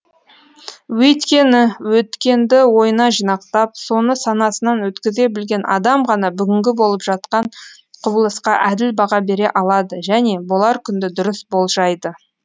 өйткені өткенді ойына жинақтап соны санасынан өткізе білген адам ғана бүгінгі болып жатқан құбылысқа әділ баға бере алады және болар күнді дұрыс болжайды